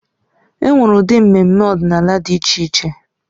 E nwere ụdị mmemme ọdịnala dị iche iche.